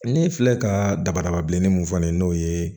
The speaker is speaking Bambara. Ne filɛ ka dabada bilenni mun fɔ n ye n'o ye